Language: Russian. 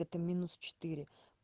это минус четыре